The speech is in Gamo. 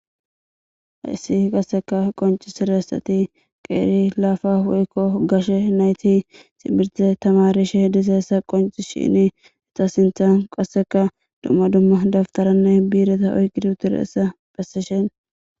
hayssi qasseka qonci sirassati qeeri laafa woykko gashe nayti ximirtise tamarishe disa essa qonci shini eta sinthan qasseka dumma dumma dabtaranne biireta oyqidiuture essa phesseshen